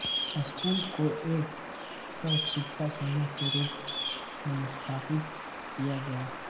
school को एक सहशिक्षा संस्था के रूप में स्थापित किया गया था